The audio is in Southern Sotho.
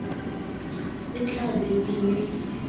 e tla be e le